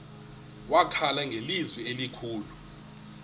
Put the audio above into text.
wakhala ngelizwi elikhulu